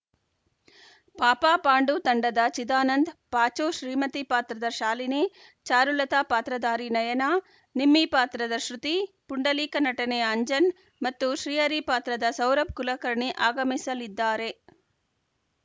ಪಾಪಪಾಂಡು ತಂಡದ ಚಿದಾನಂದ್‌ ಪಾಚು ಶ್ರೀಮತಿ ಪಾತ್ರದ ಶಾಲಿನಿ ಚಾರುಲತಾ ಪಾತ್ರಧಾರಿ ನಯನ ನಿಮ್ಮಿ ಪಾತ್ರದ ಶೃತಿ ಪುಂಡಲೀಕ ನಟನೆಯ ಅಂಜನ್‌ ಮತ್ತು ಶ್ರೀಹರಿ ಪಾತ್ರದ ಸೌರಭ್‌ ಕುಲಕರ್ಣಿ ಆಗಮಿಸಲಿದ್ದಾರೆ